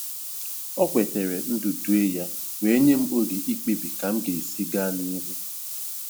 O kwetara ndudue ya wee nye m oge ikpebi ka m ga-esi gaa n'ihu.